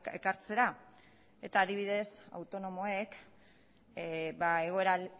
ekartzera eta adibidez autonomoek